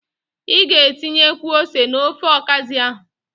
Ị ga-etinyekwu ose n'ofe ọkazị ahụ.